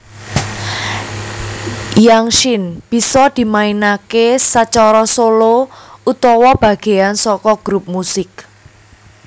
Yangqin bisa dimainake sacara solo utawa bageyan saka grup musik